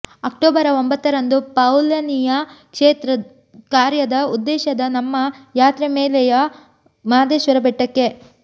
October ಒಂಬತ್ತರಂದು ಪೌಲಿನೆಯ ಕ್ಷೇತ್ರ ಕಾರ್ಯದ ಉದ್ದೇಶದ ನಮ್ಮ ಯಾತ್ರೆ ಮಲೆಯ ಮಾದೇಶ್ವರ ಬೆಟ್ಟಕ್ಕೆ